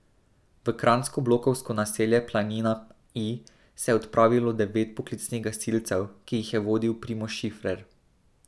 V kranjsko blokovsko naselje Planina I se je odpravilo devet poklicnih gasilcev, ki jih je vodil Primož Šifrer.